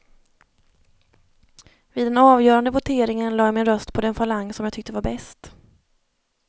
Vid den avgörande voteringen lade jag min röst på den falang som jag tyckte var bäst.